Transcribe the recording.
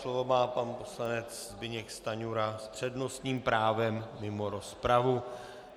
Slovo má pan poslanec Zbyněk Stanjura s přednostním právem mimo rozpravu.